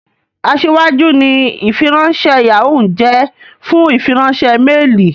Aṣíwájú ni ìfiránṣẹ́ Yahoo ń jẹ́ fún ìfiránṣẹ́ méèlì